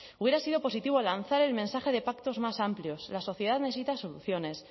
hubiera sido positivo lanzar el mensaje de pactos más amplios la sociedad necesita soluciones